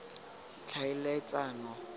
tlhaeletsano